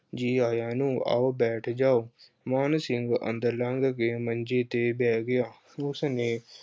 ਜੀ ਆਇਆਂ ਨੂੰ, ਆਓ ਬੈਠ ਜਾਓ। ਮਾਨ ਸਿੰਘ ਅੰਦਰ ਲੰਘ ਕੇ ਮੰਜੇ ਤੇ ਬਹਿ ਗਿਆ ਉਸਦੇ